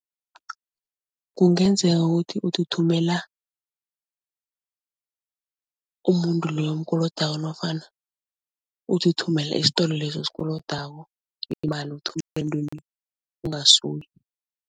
Kungenzeka ukuthi uthi uthumela umuntu loyo omkolodako nofana uthi uthumela isitolo leso osikolodako imali uthumele emntwini ekungasuye.